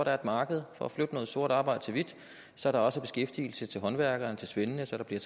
er et marked for at flytte noget sort arbejde til hvidt så der også er beskæftigelse til håndværkerne til svendene så der bliver